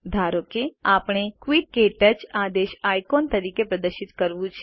ધારો કે આપણે ક્વિટ ક્ટચ આદેશ આઇકોન તરીકે પ્રદર્શિત કરવું છે